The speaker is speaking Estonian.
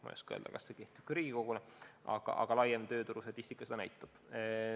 Ma ei oska öelda, kas see kehtib ka Riigikogus, aga üldisem tööturustatistika seda näitab.